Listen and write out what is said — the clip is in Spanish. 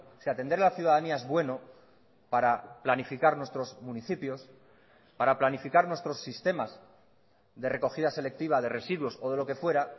si atender a la ciudadanía es bueno para planificar nuestros municipios para planificar nuestros sistemas de recogida selectiva de residuos o de lo que fuera